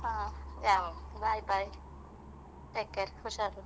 ಹ bye bye take care ಹುಷಾರು .